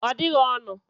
Ọ dịghị ọnụ